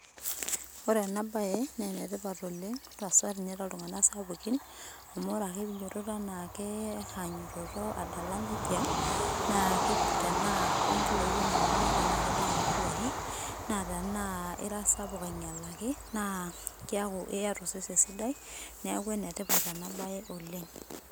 Ore ena baye neenetipat oleng hasa ninye too ltung'ana sapuki amuu ore ake piinyototo anaake ainyototo adala neija, tenaa ke nkiloi iyata naa kedoyio nkiloi naa tenaa ira sapuk ainyalaki, naa kiaaku iyata osesen sidai neeku ene tipat ena baye oleng.